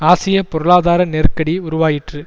ஆசிய பொருளாதார நெருக்கடி உருவாயிற்று